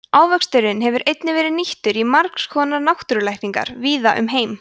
ávöxturinn hefur einnig verið nýttur í margs konar náttúrulækningar víða um heim